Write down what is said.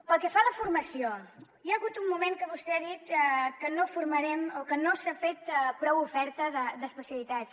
pel que fa a la formació hi ha hagut un moment que vostè ha dit que no formarem o que no s’ha fet prou oferta d’especialitats